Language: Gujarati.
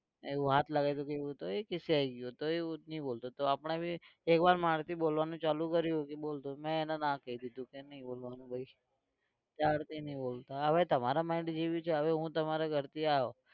એવું હાથ લાગયો તો એ રિસાઈ ગયો તો હવે એ નહિ બોલતો તો આપણે भी એક વાર માર થી બોલવાનું ચાલુ કર્યુ એ બોલતો તો મેં એને ના કહી દીધું કે નઈ બોલવાનું ભાઈ ત્યારથી નહિ બોલતા. હવે તમારા mind જે વિચારે હવે હું તમારા ઘરથી આવ્યો